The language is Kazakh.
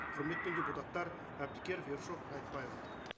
құрметпен депутаттар әбдікеров ершов айтбаева